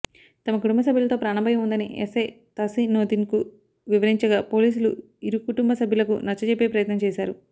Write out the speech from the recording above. తమ కుటుంబ సభ్యులతో ప్రాణభయం ఉందని ఎస్సై తహసినొద్దీన్కు వివరించగా పోలీసులు ఇరుకుటుంబ సభ్యులకు నచ్చజెప్పే ప్రయత్నం చేశారు